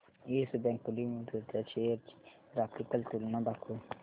yes bank limited च्या shares ची graphical तुलना दाखव